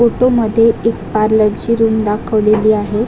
Photo मध्ये एक पार्लरची रूम दाखवलेली आहे.